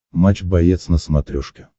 матч боец на смотрешке